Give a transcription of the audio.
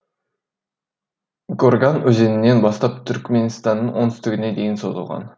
горган өзенінен бастап түркіменстанның оңтүстігіне дейін созылған